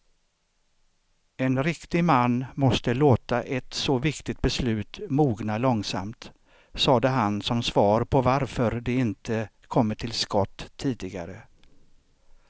En riktig man måste låta ett så viktigt beslut mogna långsamt, sade han som svar på varför de inte kommit till skott tidigare.